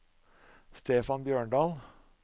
Stefan Bjørndal